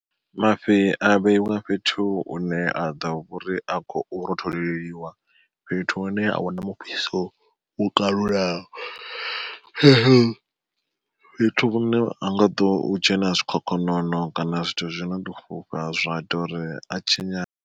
Mafhi a vheiwa fhethu hune a ḓo uri a khou rotholeliwa fhethu hune a huna mufhiso wo kalulaho. Fhethu hune ahu nga ḓo dzhena zwikhokhonono kana zwithu zwino ḓo fhufha zwa ita uri a tshinyale.